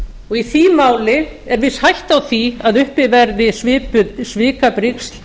og í því máli er viss hætta á því að uppi verði svipuð svikabrigsl